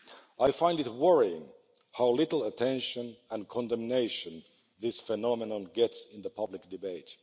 I find it worrying how little attention and condemnation this phenomenon gets in the public debate.